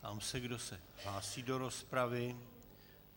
Ptám se, kdo se hlásí do rozpravy.